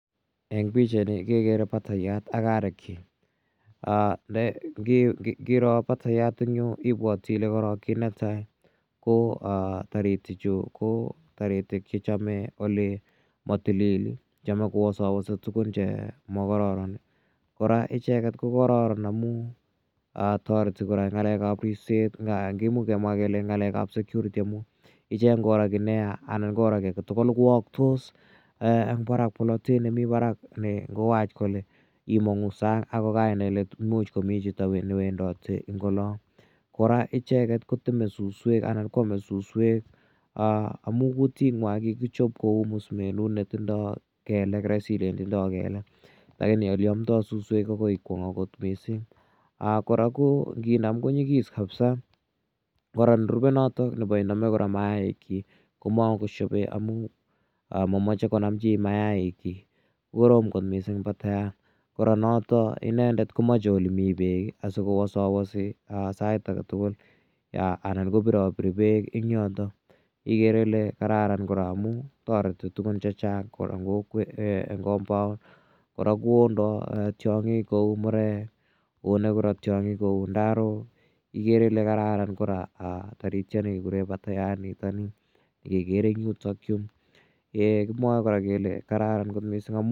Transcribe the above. Eng' pichaini kekere patayat ak arekchik. Ngiro patayat eng' yu ipwate korok ile kit ne tai ko taritichu ko taritik che machame ole tilil, chame kowasawasi tugun che makararan. Kora icheget ko kararan amu tareti kora eng' ng'alek ap ripset, imuch kemwa kele eng' ng'alek ap security amu icheget ngoro ki ne ya anan koro ki age tugul kowaktos en polotet nemi parak ne ngowach kole imang'u sang' ako kai nai kole imuch komi chito ne wendati en ola. Kora icheget koteme suswek anan ko ame suswek amu kutitnya kikichop kou musumenut ne tindai kelek, raisi ilen tindai kelek lakini ole amdai suswek akoi ikwong' akot missing'. Kora nginam ko nyigis kapsa. Kora nerupe notok ko nepo iname kora maikchik ko mako shepe amu mamache konam chi mayailchik, ko korom missing' patayat. Kora notok inendet komache ole mi peek asikowasawasi sait age tugul anan kopirapiri peek en yotok. Igere ile kararan kora amun tareti tugun che chang' kora eng compound. Kora ko ondai taing'ik kou murek, one kora tiang'ik kou ndarok, igere ile kararan kora taritiani kekure patayat nitani kekere eng' yutakyu. Kimwae kora kele kararn missing'.